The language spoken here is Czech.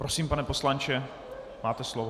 Prosím, pane poslanče, máte slovo.